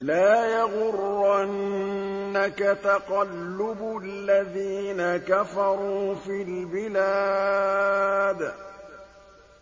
لَا يَغُرَّنَّكَ تَقَلُّبُ الَّذِينَ كَفَرُوا فِي الْبِلَادِ